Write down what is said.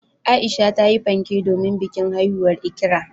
Aisha tayi fanke domin bikin haihuwar Ikra.